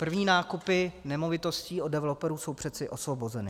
První nákupy nemovitostí od developerů jsou přeci osvobozeny.